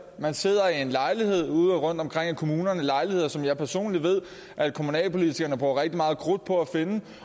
og sidder i en lejlighed rundtomkring i kommunerne lejligheder som jeg personligt ved at kommunalpolitikerne bruger rigtig meget krudt på at finde